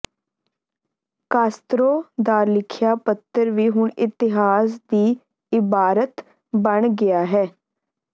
Castro ਦਾ ਲਿਖਿਆ ਪੱਤਰ ਵੀ ਹੁਣ ਇਤਿਹਾਸ ਦੀ ਇਬਾਰਤ ਬਣ ਗਿਆ ਹੈ